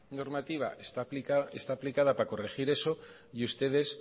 normativa está aplicada para corregir eso y ustedes